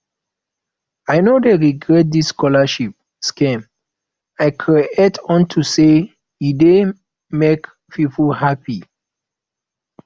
i no dey regret dis scholarship scheme i create unto say e dey make people happy